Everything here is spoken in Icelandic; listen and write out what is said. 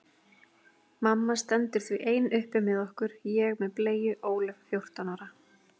Mamma stendur því ein uppi með okkur, ég með bleyju, Ólöf fjórtán ára.